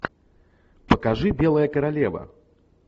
покажи белая королева